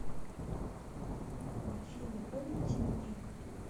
афина помните меня